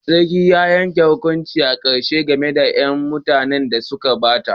Sarkin ya yanke hukuncin karshe game da 'yan matan da suka bata.